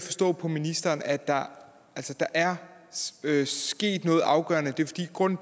forstå på ministeren at der er sket noget afgørende